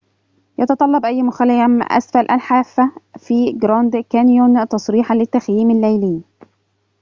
يتطلب أي مخيم أسفل الحافة في غراند كانيون تصريحاً للتخييم الليلي